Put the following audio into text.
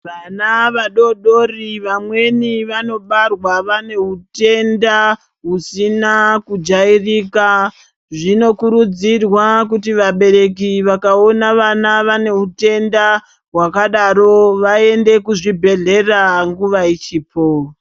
Vana vadodori vamweni vanobarwa vane utenda usina kujairika. Zvinokurudzirwa kuita vabereki vakaona vane utenda hwakadaro vaende kuchibhedhlera nguva ichipo